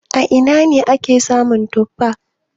A ina ne ake samun tuffa?